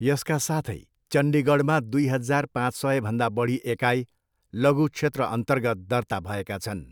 यसका साथै, चण्डीगढमा दुई हजार पाँच सयभन्दा बढी एकाइ लघु क्षेत्रअन्तर्गत दर्ता भएका छन्।